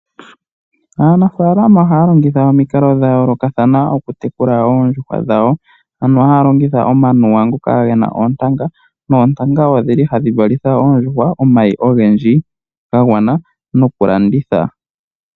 Anafaalama ohaya longitha omikalo dhayoolokathana okutekula oondjuhwa dhawo ano haalongitha omanuwa ngoka gena oontanga ,noontanga odhili hadhi valitha oondjuhwa omayi ogendji gagwana noku landitha.